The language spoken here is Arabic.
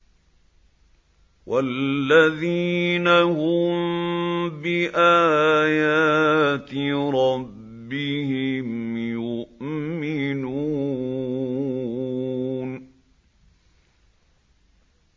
وَالَّذِينَ هُم بِآيَاتِ رَبِّهِمْ يُؤْمِنُونَ